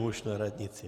Muž na radnici.